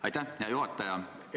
Aitäh, hea juhataja!